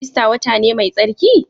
Ista wata ne mai tsarki?